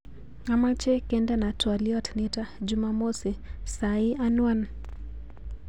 Achome kendena twoliot nito jumamosi sai anwan